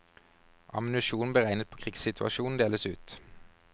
Ammunisjon beregnet på krigssituasjon deles ut.